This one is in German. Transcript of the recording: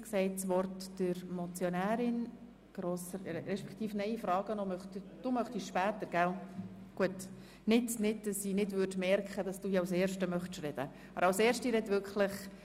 Es ist dem Grossen Rat aufzuzeigen, wie im Rahmen einer Revision des Strassenverkehrsgesetzes die ökologische Wirksamkeit bei den Motorfahrzeugsteuern verbessert werden kann.